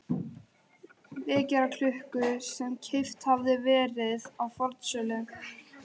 vekjaraklukku sem keypt hafði verið á fornsölu.